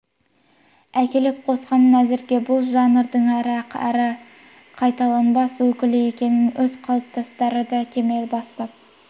әкеліп қосқанын әзірге бұл жанрдың ірі әрі қайталанбас өкілі екенін өз қатарластары да кемел бастап